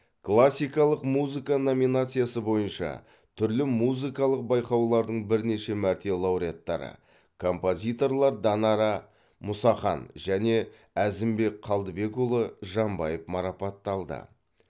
классикалық музыка номинациясы бойынша түрлі музыкалық байқаулардың бірнеше мәрте лауреаттары композиторлар данара мұсахан және әзімбек қалдыбекұлы жамбаев марапатталды